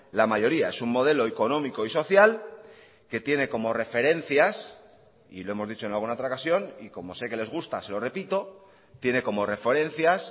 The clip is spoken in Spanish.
la mayoría es un modelo económico y social que tiene como referencias y lo hemos dicho en alguna otra ocasión y como sé que les gusta se lo repito tiene como referencias